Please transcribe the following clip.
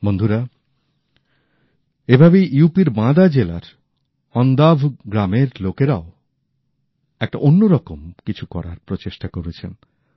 বন্ধুরা এভাবেই ইউপি র বাঁদা জেলার অন্ধাভ গ্রামের লোকেরাও একটা অন্যরকম কিছু করার প্রচেষ্টা করেছেন